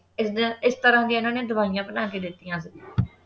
ਇਸ ਇਸ ਤਰ੍ਹਾਂ ਦੀ ਇਨ੍ਹਾਂ ਨੇ ਦਵਾਈਆਂ ਬਣਾ ਕੇ ਦਿੱਤੀਆਂ ਸਿਗੀਆਂ